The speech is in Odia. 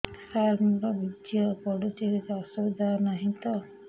ସାର ମୋର ବୀର୍ଯ୍ୟ ପଡୁଛି କିଛି ଅସୁବିଧା ନାହିଁ ତ